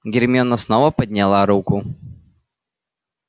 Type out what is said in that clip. гермиона снова подняла руку